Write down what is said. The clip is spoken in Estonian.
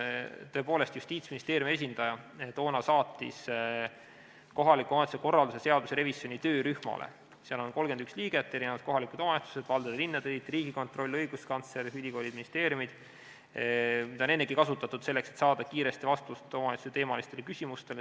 Tõepoolest, Justiitsministeeriumi esindaja toona saatis selle kohaliku omavalitsuse korralduse seaduse revisjoni töörühmale, kus on 31 liiget ja mida on ennegi kasutatud selleks, et saada kiiresti vastust omavalitsuste teemalistele küsimustele.